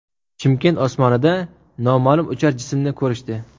Chimkent osmonida noma’lum uchar jismni ko‘rishdi .